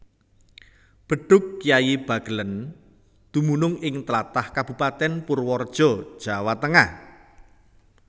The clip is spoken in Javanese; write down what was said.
Bedhug Kyai Bagelén dumunung ing tlatah Kabupatèn Purwareja Jawa Tengah